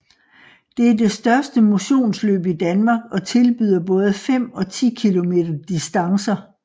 Det er det største motionsløb i Danmark og tilbyder både 5 og 10 km distancer